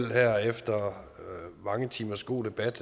her efter mange timers god debat